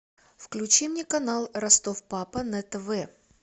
включи мне канал ростов папа на тв